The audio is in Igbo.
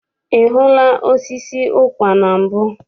I hụla osisi ụkwa na mbụ?